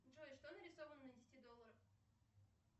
джой что нарисовано на десяти долларах